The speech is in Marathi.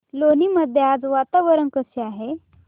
लोणी मध्ये आज वातावरण कसे आहे